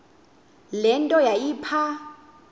le nto yayipha